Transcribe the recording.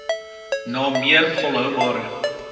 na meer volhoubare